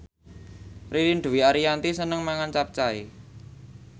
Ririn Dwi Ariyanti seneng mangan capcay